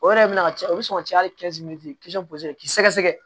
O yɛrɛ bɛna ca o bɛ sɔn ka caya hali k'i sɛgɛsɛgɛ